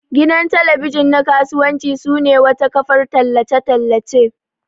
Gidan talabijin na kasuwanci sune wata kafar tallace tallace.